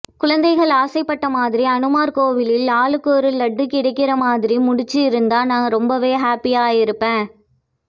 குழந்தைகள் ஆசைப்பட்ட மாதிரி அனுமார் கோயிலில் ஆளுக்கொரு லட்டு கிடைக்கிற மாதிரி முடிச்சிருந்தா நான் ரொம்பவே ஹாப்பியாகியிருப்பேன்